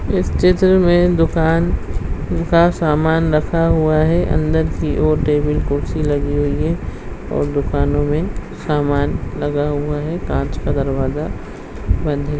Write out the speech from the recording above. इस चित्र में दुकान का सामान रखा हुआ है अन्दर की ओर टेबल कुर्सी लगी हुई है और दुकानों में सामान लगा हुआ है काँच का दरवाजा बन्द है।